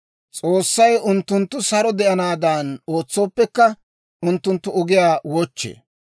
S'oossay unttunttu saro de'anaadan ootsooppekka, unttunttu ogiyaa wochchee.